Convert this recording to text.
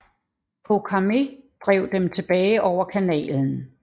Chokarmé drev dem tilbage over kanalen